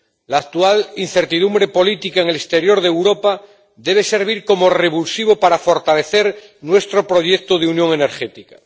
La actual incertidumbre política en el exterior de Europa debe servir como revulsivo para fortalecer nuestro proyecto de unión energética.